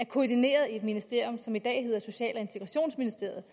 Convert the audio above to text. koordineret i et ministerium som i dag hedder social og integrationsministeriet